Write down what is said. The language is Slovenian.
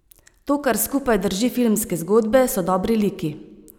To, kar skupaj drži filmske zgodbe, so dobri liki.